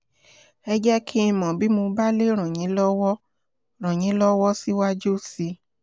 ẹ jẹ́ kí n mọ̀ bí mo bá lè ràn yín lọ́wọ́ ràn yín lọ́wọ́ síwájú sí i